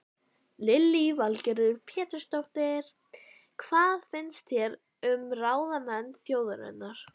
Lillý Valgerður Pétursdóttir: Hvað finnst þér um ráðamenn þjóðarinnar?